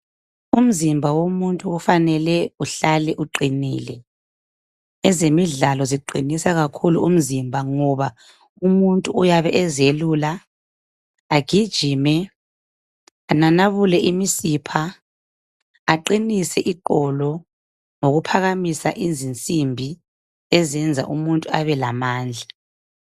Umzimba womuntu ufanele uhlale uqinile, ezemidlalo ziqinisa kakhulu umzimba ngoba umuntu uyabe ezelula, agijime ananabule imisipja, aqinise iqolo ngokuphakamisa izinsimbi ezenza umuntu abelamandla.